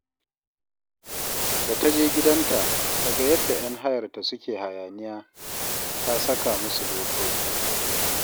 Da ta je gidanta, ta ga yadda ‘yan hayarta suke hayaniya, ta saka musu dokoki